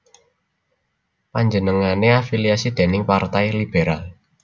Panjenengané afiliasi dèning Partai Liberal